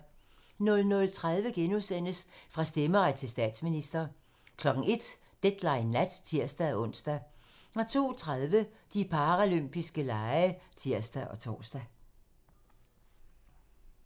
00:30: Fra stemmeret til statsminister * 01:00: Deadline nat (tir-ons) 02:30: De paralympiske lege (tir og tor)